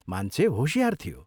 मान्छे होशियार थियो।